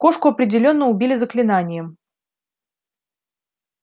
кошку определённо убили заклинанием